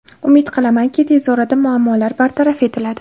Umid qilamanki, tez orada muammolar bartaraf etiladi.